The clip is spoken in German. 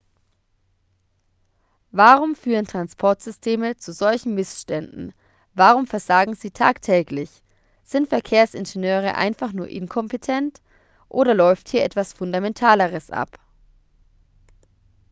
warum führen transportsysteme zu solchen missständen warum versagen sie tagtäglich sind verkehrsingenieure einfach nur inkompetent oder läuft hier etwas fundamentaleres ab